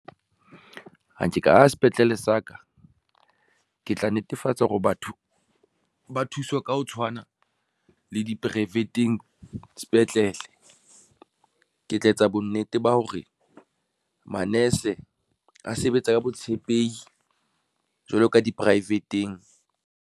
Ha nke ka aha sepetlele sa ka, ke tla netefatsa hore batho ba thuswe ka ho tshwana le di-private-ng sepetlele. Ke tla etsa bonnete ba hore manese a sebetsa ka botshepehi jwalo ka di-private-ng.